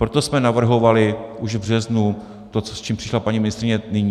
Proto jsme navrhovali už v březnu to, s čím přišla paní ministryně nyní.